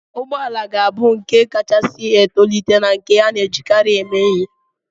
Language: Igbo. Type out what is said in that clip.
Ụgbọ ala ga-abụ nke kachasị etolite na nke a na-ejikarị eme ihe.